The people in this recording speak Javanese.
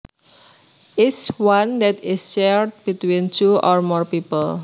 is one that is shared between two or more people